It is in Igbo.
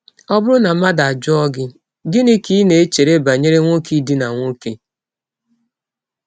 Ọ bụrụ na mmadụ ajụọ gị: “ Gịnị ka i chere banyere nwọke ịdina nwọke? ”